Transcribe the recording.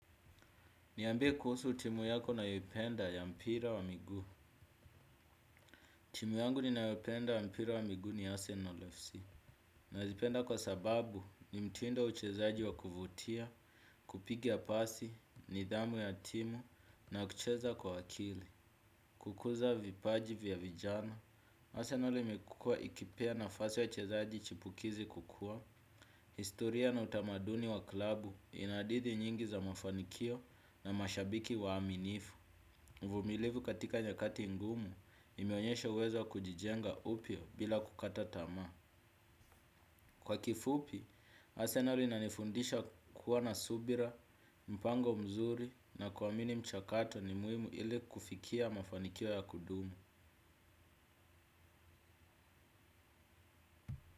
Niambie kuhusu timu yako nayoipenda ya mpira wa migu. Timu yangu ninayoipenda ya mpira wa miguu ni Arsenal FC. Nazipenda kwa sababu ni mtindo wa uchezaji wa kuvutia, kupiga pasi, nidhamu ya timu, na kucheza kwa akili. Kukuza vipaji vya vijana. Arsenal imekua ikipea nafasi wachezaji chipukizi kukua. Historia na utamaduni wa klabu ina hadithi nyingi za mafanikio na mashabiki waaminifu. Vumilivu katika nyakati ngumu imeonyesha uwezo wa kujijenga upya bila kukata tamaa. Kwa kifupi, asenari inanifundisha kuwa na subira, mpango mzuri na kuamini mchakato ni muhimu ili kufikia mafanikio ya kudumu.